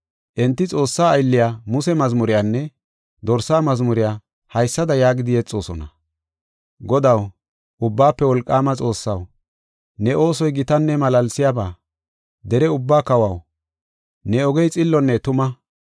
Enti Xoossaa aylliya Muse mazmuriyanne Dorsa mazmuriya haysada yaagidi yexoosona. “Godaw, Ubbaafe Wolqaama Xoossaw, ne oosoy gitanne malaalsiyaba. Dere ubbaa kawaw, ne ogey xillonne tuma.